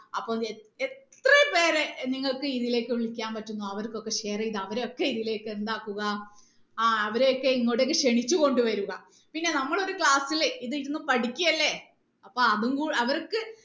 അപ്പൊ എ എത്ര പേരെ നിങ്ങൾക്ക് ഇതിലേക്ക് വിളിക്കാൻ പറ്റും അവർക്കൊക്കെ share ചെയ്ത് അവരെ ഒക്കെ ഇതിലേക്ക് എന്താക്കുക ആ അവരെ ഒക്കെ ഇങ്ങോട്ട് ക്ഷണിച്ച് കൊണ്ട് വരുക പിന്നെ നമ്മൾ ഒരു class ൽ ഇത് ഇരുന്ന് പഠിക്കുകയല്ലേ അപ്പൊ അതും കൂ അവർക്ക്